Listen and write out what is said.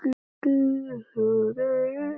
Hrund: Hvar eru þeir?